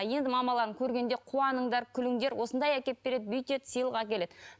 енді мамаларыңды көргенде қуаныңдар күліңдер осындай әкеп береді бүйтеді сыйлық әкеледі